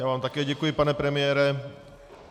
Já vám také děkuji, pane premiére.